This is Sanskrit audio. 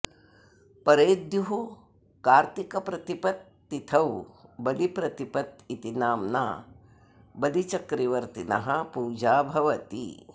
परेद्युः कार्तिकप्रतिपत् तिथौ बलिप्रतिपत् इति नम्ना बलिचक्रवर्तिनः पूजा भवति